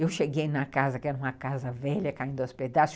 Eu cheguei na casa, que era uma casa velha, caindo aos pedaços.